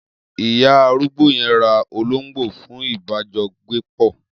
Iya arúgbó yen ra ológbó fun ìbá jọ gbé pọ